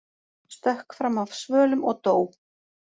Stökk fram af svölum og dó